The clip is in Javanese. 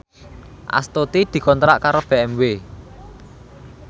Astuti dikontrak kerja karo BMW